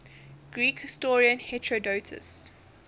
greek historian herodotus